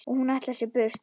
Og hún ætlar sér burt.